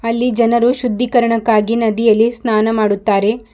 ಅಲ್ಲಿ ಜನರು ಶುದ್ಧೀಕರಣಕ್ಕಾಗಿ ನದಿಯಲ್ಲಿ ಸ್ನಾನ ಮಾಡುತ್ತಾರೆ.